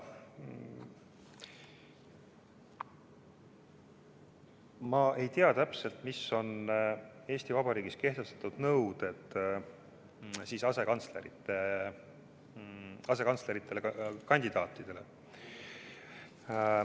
Ma ei tea täpselt, mis on Eesti Vabariigis kehtestatud nõuded asekantslerite kandidaatidele.